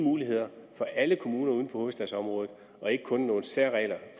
muligheder for alle kommuner uden for hovedstadsområdet og ikke kun nogle særregler